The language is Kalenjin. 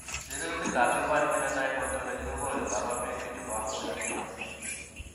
Sirutikab Human Phenotype Ontology kokonu koborunoikchu chebo Hurler syndrome.